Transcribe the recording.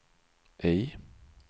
I